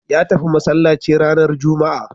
Ya tafi masallaci ranar juma'a